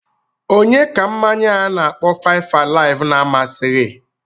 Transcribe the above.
Onye ka mmanya a na-akpọ 5-alive na-amasịghi?